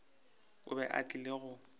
o be a tlile go